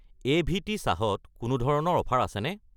AVT. চাহ ত কোনো ধৰণৰ অফাৰ আছেনে?